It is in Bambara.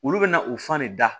Olu bɛna u fan ne da